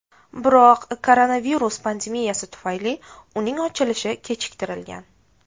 Biroq koronavirus pandemiyasi tufayli uning ochilishi kechiktirilgan.